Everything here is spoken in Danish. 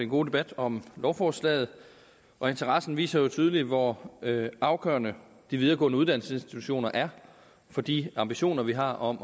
god debat om lovforslaget og interessen viser jo tydeligt hvor afgørende de videregående uddannelsesinstitutioner er for de ambitioner vi har om